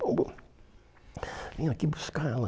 bom bom, Vim aqui buscar ela.